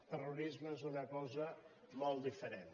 terrorisme és una cosa molt diferent